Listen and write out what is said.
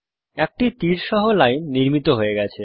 একটি তীর সহ লাইন নির্মিত হয়ে গেছে